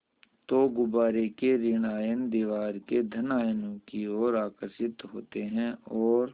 तो गुब्बारे के ॠण आयन दीवार के धन आयनों की ओर आकर्षित होते हैं और